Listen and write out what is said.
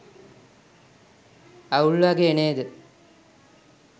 අවුල් වගේ නේද